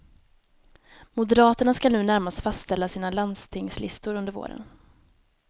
Moderaterna skall nu närmast fastställa sina landstingslistor under våren.